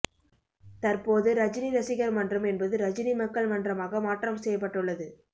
தற்போது ரஜினி ரசிகர் மன்றம் என்பது ரஜினி மக்கள் மன்றமாக மாற்றம் செய்யப்படுள்ளது